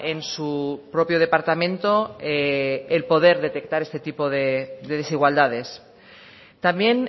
en su propio departamento el poder detectar este tipo de desigualdades también